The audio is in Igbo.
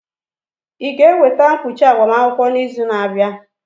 Ị ga-eweta mkpuchi agbamakwụkwọ n'izu na-abịa?